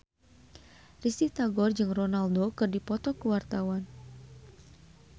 Risty Tagor jeung Ronaldo keur dipoto ku wartawan